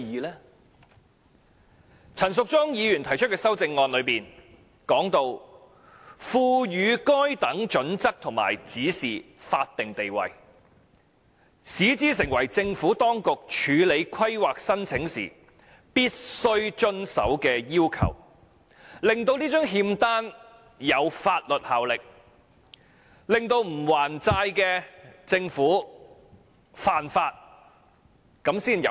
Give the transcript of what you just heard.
反之，陳淑莊議員提出的修正案要求："賦予該等準則和指引法定地位，使之成為政府當局處理規劃申請時必須遵守的要求"，令這張欠單具有法律效力，如果政府不還債便干犯法例，這樣才有用。